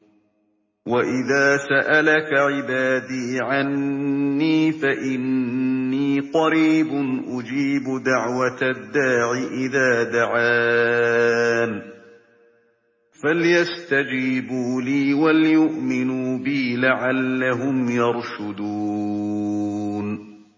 وَإِذَا سَأَلَكَ عِبَادِي عَنِّي فَإِنِّي قَرِيبٌ ۖ أُجِيبُ دَعْوَةَ الدَّاعِ إِذَا دَعَانِ ۖ فَلْيَسْتَجِيبُوا لِي وَلْيُؤْمِنُوا بِي لَعَلَّهُمْ يَرْشُدُونَ